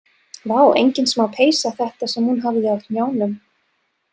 Vá, engin smá peysa þetta sem hún hafði á hnjánum.